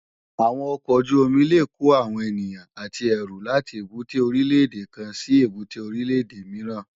Awòn òkòójùómì lé kó áwòn éniyàn àtí èrú làtí ébùté órilè édé kán si ébùté órilè édé mirán